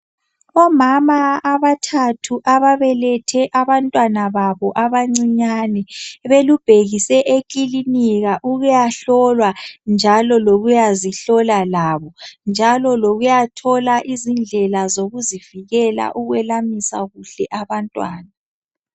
Omama abathathu ababelethe abantwana babo abancinyani ,belubhekise ekilinika ukuyahlolwa njalo lokuyazihlola labo. Njalo lokuyathola izindlela zokuzivikela ukwelamisa kuhle abantwana .